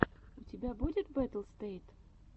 у тебя будет баттлстэйт